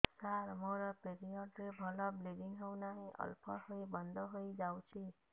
ସାର ମୋର ପିରିଅଡ଼ ରେ ଭଲରେ ବ୍ଲିଡ଼ିଙ୍ଗ ହଉନାହିଁ ଅଳ୍ପ ହୋଇ ବନ୍ଦ ହୋଇଯାଉଛି